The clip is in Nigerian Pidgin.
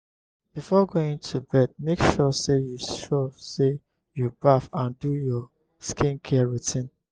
before going to bed make sure say you sure say you baff and do your skin care routine